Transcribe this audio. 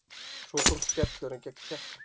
Svo kom skellurinn gegn Tékkum.